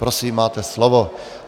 Prosím, máte slovo.